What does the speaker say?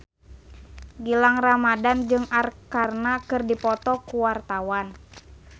Gilang Ramadan jeung Arkarna keur dipoto ku wartawan